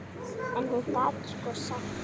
En hún gat sko sagt.